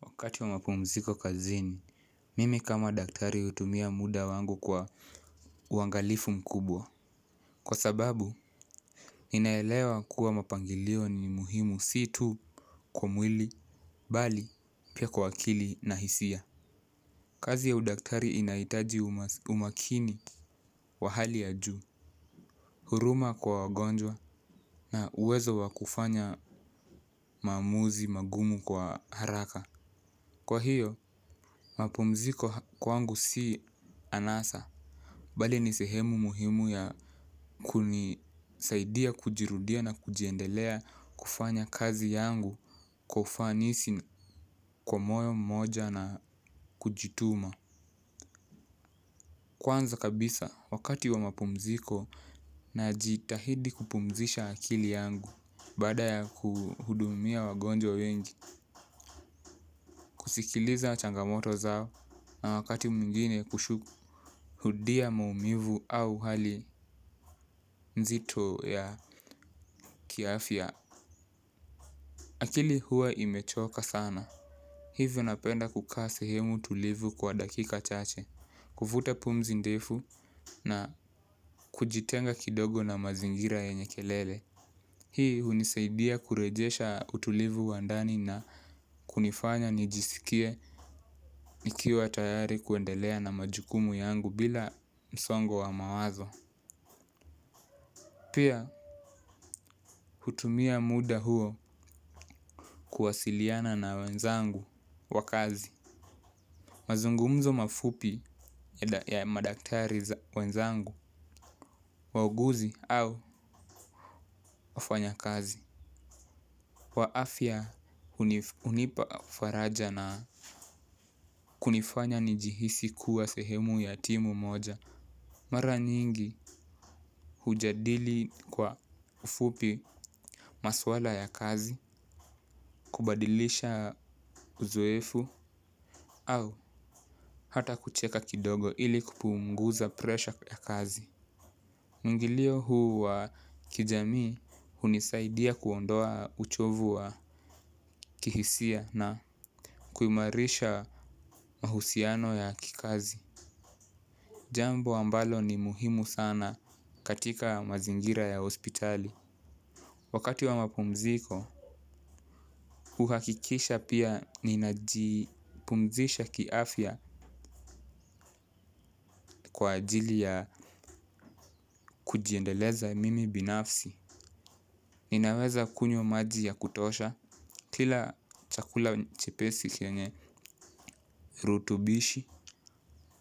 Wakati wa mapumziko kazini, mimi kama daktari utumia muda wangu kwa uangalifu mkubwa. Kwa sababu, ninaelewa kuwa mapangilio ni muhimu si tu kwa mwili, bali, pia kwa akili na hisia. Kazi ya udaktari inaitaji umakini wa hali ya juu, huruma kwa wagonjwa na uwezo wa kufanya maamuzi mangumu kwa haraka. Kwa hiyo, mapumziko kwangu si anasa. Bali ni sehemu muhimu ya kunisaidia kujirudia na kujiendelea kufanya kazi yangu kwa ufanisi kwa moyo mmoja na kujituma. Kwanza kabisa, wakati wa mapumziko najitahidi kupumzisha akili yangu baada ya kuhudumia wagonjwa wengi, kusikiliza changamoto zao na wakati mwingine kushuhudia maumivu au hali nzito ya kiafya. Akili huwa imechoka sana. Hivyo napenda kukaa sehemu tulivu kwa dakika chache, kuvuta pumzi ndefu na kujitenga kidogo na mazingira yenye kelele. Hii hunisaidia kurejesha utulivu wa ndani na kunifanya nijisikie nikiwa tayari kuendelea na majukumu yangu bila msongo wa mawazo. Pia hutumia muda huo kuwasiliana na wenzangu wa kazi. Mazungumzo mafupi ya madaktari wenzangu wauguzi au wafanyakazi wa afya hunipa faraja na kunifanya njihisi kuwa sehemu ya timu moja. Mara nyingi hujadili kwa ufupi maswala ya kazi. Kubadilisha uzoefu au hata kucheka kidogo ili kupumnguza presha ya kazi. Mwingilio huu wa kijamii hunisaidia kuondoa uchovu wa kihisia na kuimarisha mahusiano ya kikazi. Jambo ambalo ni muhimu sana katika mazingira ya hospitali. Wakati wa mapumziko, huhakikisha pia ninajipumzisha kiafya kwa ajili ya kujiendeleza mimi binafsi. Ninaweza kunywa maji ya kutosha kila chakula nchepesi kienye rutubishi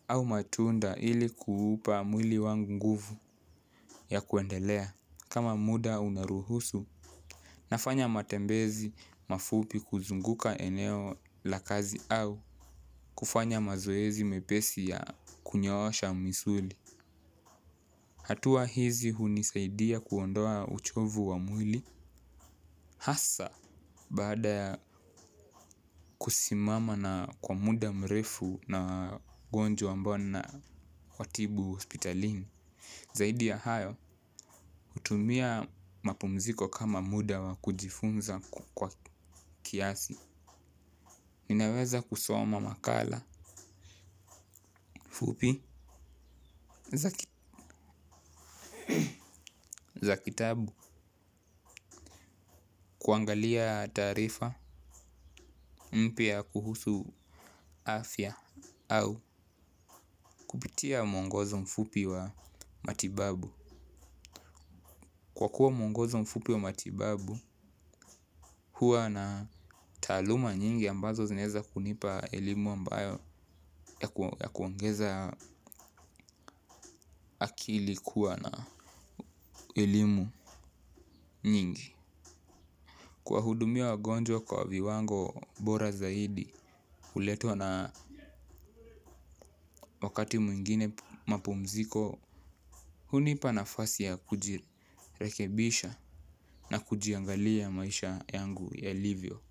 au matunda ili kuupa mwili wangu nguvu ya kuendelea. Kama muda unaruhusu, nafanya matembezi mafupi kuzunguka eneo la kazi au kufanya mazoezi mepesi ya kunyoosha misuli. Hatua hizi hunisaidia kuondoa uchovu wa mwili hasa, baada ya kusimama na kwa muda mrefu na wagonjwa ambao ninawatibu hospitalini. Zaidi ya hayo, hutumia mapumziko kama muda wa kujifunza kwa kiasi. Ninaweza kusoma makala fupi za kitabu kuangalia taarifa mpya kuhusu afya au kupitia mwongozo mfupi wa matibabu. Kwa kuwa mwongozo mfupi wa matibabu huwa na taaluma nyingi ambazo zinaeza kunipa elimu ambayo ya kuongeza akili kuwa na elimu nyingi. Kuwahudumia wagonjwa kwa viwango bora zaidi, huletwa na wakati mwingine mapumziko, hunipa nafasi ya kujirekebisha na kujiangalia maisha yangu yalivyo.